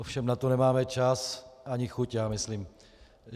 Ovšem na to nemáme čas ani chuť, já myslím.